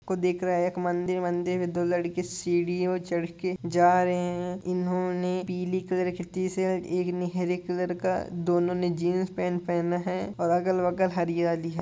देख रहा है एक मंदिर मंदिर में दो लड़की सीडीओ चढ़ के जा रहे हैं इन्होंने पीले कलर खेती से एक नहर कलर का दोनों ने जींस पैंट पहना है|